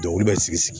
Dɔnkili bɛ sigi sigi